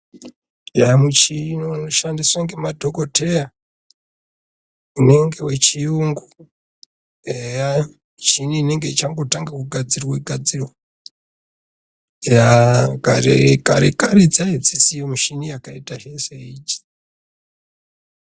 Eya muchini unoshadiswa ngemadhokoteya, unenge wechiyungu. Eya michini inenge ichangotanga kugadzirwe-gadzirwa. Eya kare-kare dzaadzisiyo michini yakaitahe seidzi.